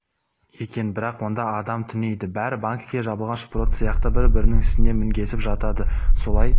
екен бірақ онда адам түнейді бәрі банкіге жабылған шпрот сияқты бір-бірінің үстіне мінгесіп жатады солай